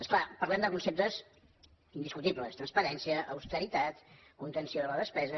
és clar parlem de conceptes indiscutibles transparència austeritat contenció de la despesa